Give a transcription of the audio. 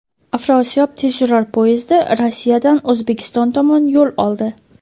"Afrosiyob" tezyurar poyezdi Rossiyadan O‘zbekiston tomon yo‘l oldi.